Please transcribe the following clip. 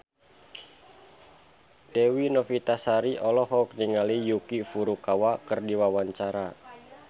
Dewi Novitasari olohok ningali Yuki Furukawa keur diwawancara